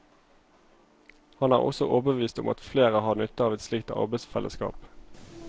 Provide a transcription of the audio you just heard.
Han er også overbevist om at flere har nytte av et slikt arbeidsfellesskap.